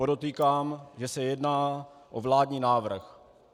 Podotýkám, že se jedná o vládní návrh.